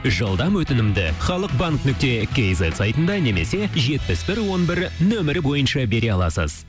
жылдам өтінімді халықбанк нүкте кизет сайтында немесе жетпіс бір он бір нөмірі бойынша бере аласыз